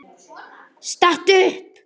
Stattu upp!